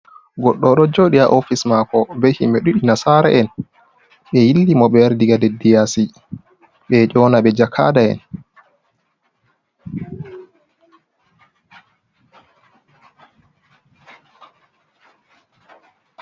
Goɗɗo ɗo joɗi ha ofis mako, ɓe himɓe ɗiɗi nasaraen. Ɓe yilli mo, ɓe wari ɗiga leɗɗi yasi. Ɓe ɗo yonaɓe jakaɗa'en.